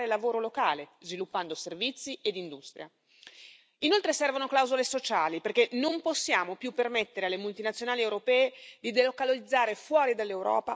Inoltre servono clausole sociali, perché non possiamo più permettere alle multinazionali europee di delocalizzare fuori dall'Europa per produrre dove si sfruttano i lavoratori per pochi euro al giorno.